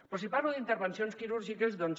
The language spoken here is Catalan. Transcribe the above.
però si parlo d’intervencions quirúrgiques doncs